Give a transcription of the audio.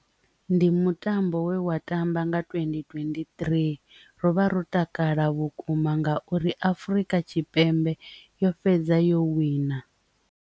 Ndi mutambo we wa tamba nga twendi twendi three ro vha ro takala vhukuma nga uri Afrika Tshipembe yo fhedza yo wina.